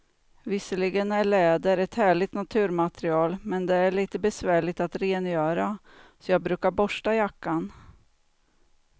Visserligen är läder ett härligt naturmaterial, men det är lite besvärligt att rengöra, så jag brukar borsta jackan.